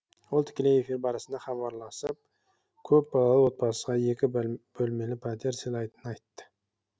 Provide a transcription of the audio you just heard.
ол тікелей эфир барысында хабарласып көпбалалы отбасыға екі бөлмелі пәтер сыйлайтынын айтты